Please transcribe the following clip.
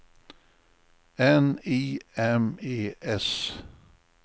N I M E S